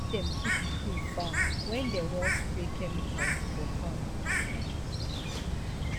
make dem keep pikin far when dem dey wan spray chemicals for farm.